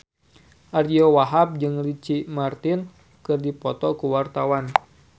Ariyo Wahab jeung Ricky Martin keur dipoto ku wartawan